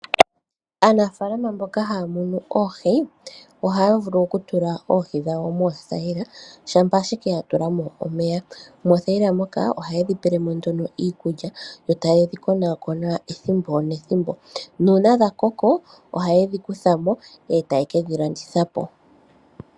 Aanafaalama mboka haa monu oohi, ohaya vulu okutula oohi dhawo moothaila shampa ashike tatulamo omeya. Moothaila moka ohayedhi pelemo nduno iikulya , etayidhi konaakona ethimbo nethimbo nuuna dhakoko ohayedhi kuthamo dhika landithwepo.